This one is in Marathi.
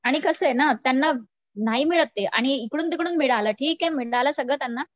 आणि कसय ना त्यांना नाही मिळत ते आणि इकडून तिकडून मिळालं, ठीक आहे मिळालं सगळं त्यांना